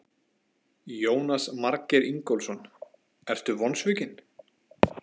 Jónas Margeir Ingólfsson: Ertu vonsvikinn?